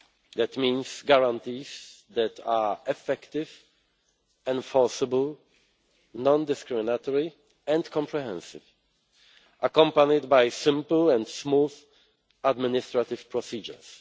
That means guarantees that are effective, enforceable, non discriminatory and comprehensive, accompanied by simple and smooth administrative procedures.